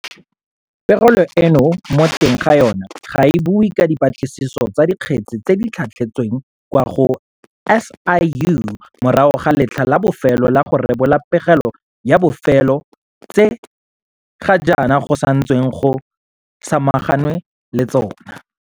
Pegelo eno mo teng ga yona ga e bue ka dipatlisiso tsa dikgetse tse di tlhatlhetsweng kwa go SIU morago ga letlha la bofelo la go rebola pegelo ya bofelo tse ga jaana go santsweng go samaganwe le tsona.